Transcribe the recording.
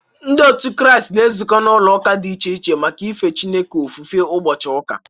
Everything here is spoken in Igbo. Ndị otu Kraịst na-ezukọ n’ụlọ ụka dị iche iche maka ife Chineke ofufe ụbọchị ụka.